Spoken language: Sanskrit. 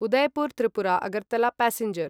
उदयपुर् त्रिपुरा अगर्तला प्यासेंजर्